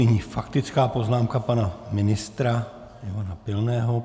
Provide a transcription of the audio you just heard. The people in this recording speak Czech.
Nyní faktická poznámka pana ministra Ivana Pilného.